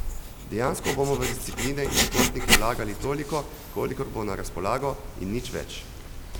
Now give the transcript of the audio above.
Dejansko bomo v discipline in športnike vlagali toliko, kolikor bo na razpolago, in nič več.